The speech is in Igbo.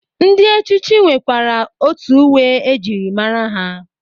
Ndị echichi nwerekwere otu uwe e jiri mara ha.